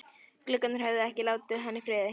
Gluggarnir höfðu ekki látið hann í friði.